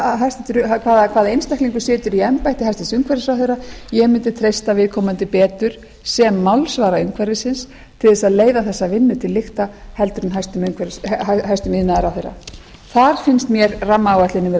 að það er sama hvaða einstaklingur situr í embætti hæstvirtur umhverfisráðherra ég mundi treysta viðkomandi betur sem málsvara umhverfisins til þess að leiða þessa vinnu til lykta heldur en hæstvirtur iðnaðarráðherra þar finnst mér rammaáætlunin vera